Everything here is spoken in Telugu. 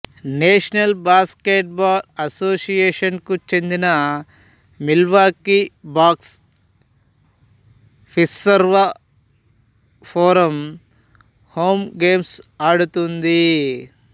నేషనల్ బాస్కెట్బాల్ అసోసియేషనుకు చెందిన Milwaukee Bucks Fiserv Forum home games ఆడుతుంది